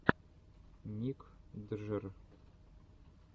ник джр